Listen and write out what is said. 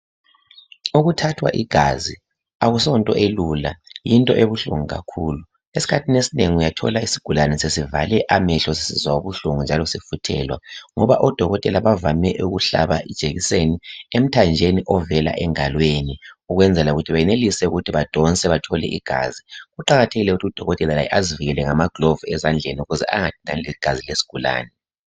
Ukuthathwa igazi asonto elula yinto ebuhlungu kakhulu okuthi uthola umuntu sevale amehlo, sesisizwa ubuhlungu ngoba odokotela bavame ukuhlaba injekiseni ,bafuthelwe egazini badonse nje kunjalo , kuqathekile ukuthi udokotela azivikele ngamagilavisi.